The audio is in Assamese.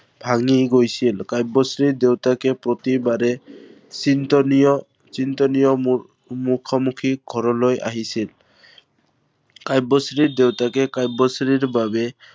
ভাঙি গৈছিল। কাব্যশ্ৰীৰ দেউতাকে প্ৰতিবাৰে চিন্তনীয়, চিন্তনীয় মুখ মুখামিখি ঘৰলৈ আহিছিল। কাব্যশ্ৰীৰ দেউতাকে কাব্যশ্ৰীৰ বাবে